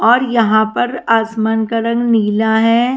और यहां पर आसमान का रंग नीला है।